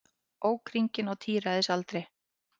Ók hringinn á tíræðisaldri